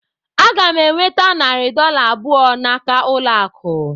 Aga m enweta narị dọla abụọ n'aka ụlọ akụ